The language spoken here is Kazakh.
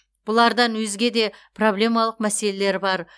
бұлардан өзде де проблемалық мәселелер бар